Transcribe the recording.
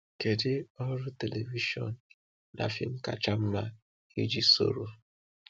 Kedu ọrụ telivishọn na fim kacha mma iji soro?